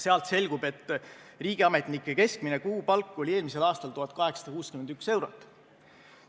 Sealt selgub, et riigiametnike keskmine kuupalk oli eelmisel aastal 1861 eurot.